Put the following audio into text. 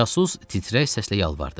Casus titrək səslə yalvardı.